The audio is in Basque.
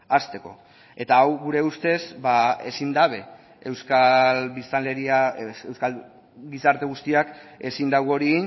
hasteko eta hau gure ustez ezin dabe euskal biztanleria euskal gizarte guztiak ezin du hori